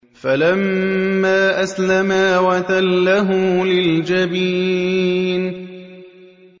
فَلَمَّا أَسْلَمَا وَتَلَّهُ لِلْجَبِينِ